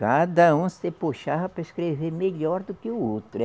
Cada um se puxava para escrever melhor do que o outro.